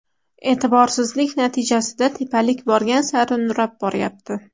E’tiborsizlik natijasida tepalik borgan sari nurab boryapti.